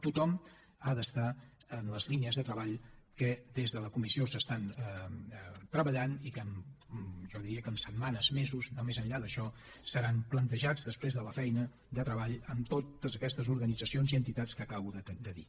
tothom ha d’estar en les línies de treball que des de la comissió s’estan treballant i que jo diria que en setmanes mesos no més enllà d’això seran plantejades després de la feina de treball amb totes aquestes organitzacions i entitats que acabo de dir